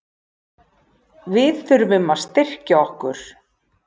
Við þurfum að styrkja okkur.